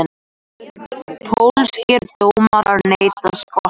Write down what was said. Pólskir dómarar neita Skotum